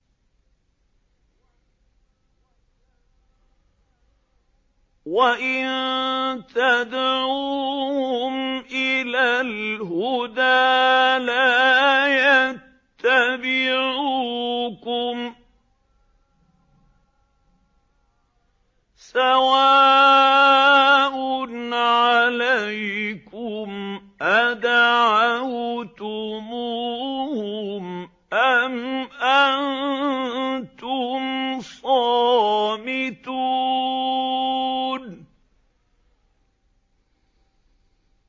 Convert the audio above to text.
وَإِن تَدْعُوهُمْ إِلَى الْهُدَىٰ لَا يَتَّبِعُوكُمْ ۚ سَوَاءٌ عَلَيْكُمْ أَدَعَوْتُمُوهُمْ أَمْ أَنتُمْ صَامِتُونَ